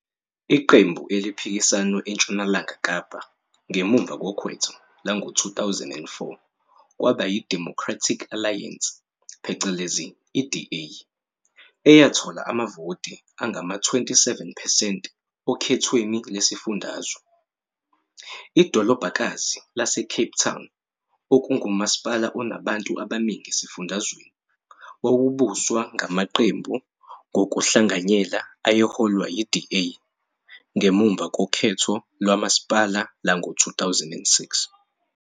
Iqembu eliphikisano eNtshonalanga Kapa ngemuva kokhetho lwango-2004 kwaba yiDemocratic Alliance, DA, eyathola amavoti angama-27 percent okhethweni lwesifundazwe. Idolobhakazi laseCape Town, okungumasipala onabantu abaningi esifundazweni, wawubuswa ngamaqembu ngokuhlanganyela ayeholwa yi-DA ngemuva kokhetho lomasipala lwango-2006.